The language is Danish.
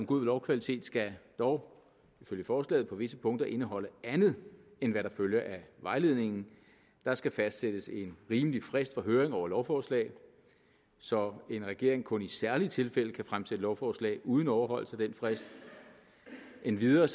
god lovkvalitet skal dog ifølge forslaget på visse punkter indeholde andet end hvad der følger af vejledningen der skal fastsættes en rimelig frist for høring over lovforslaget så en regering kun i særlige tilfælde kan fremsætte lovforslag uden overholdelse af den frist endvidere